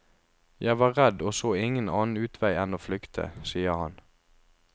Jeg var redd og så ingen annen utvei enn å flykte, sier han.